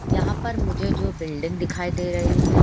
यहाँ पर मुझे जो बिल्डिंग दिखाई दे रही है --